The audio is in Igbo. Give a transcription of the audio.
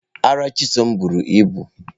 Ara Chisom buru ibu.